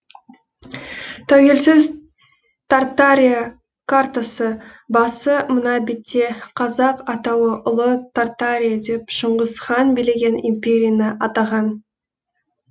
тәуелсіз тартария картасы басы мына бетте қазақ атауы ұлы тартария деп шыңғыс хан билеген империяны атаған